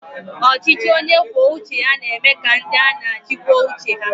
Ọchịchị onye kwuo uche ya na eme ka ndị a na-achị kwuo uche ha